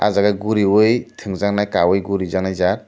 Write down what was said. aw jaagi guriui twngjaknai kawi gurijaaknai jaat.